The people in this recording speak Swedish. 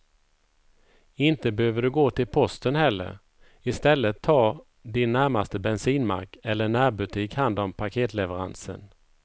Inte behöver du gå till posten heller, i stället tar din närmaste bensinmack eller närbutik hand om paketleveransen.